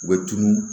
U bɛ tunun